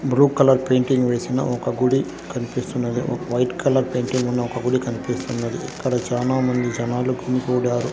Bru colour painting వేసిన ఒక గుడి కనిపిస్తున్నది ఒక వైట్ కలర్ పెయింటింగ్ ఉన్న ఒక గుడి కనిపిస్తున్నది ఇక్కడ చానా మంది జనాలకు గుమిగూడారు.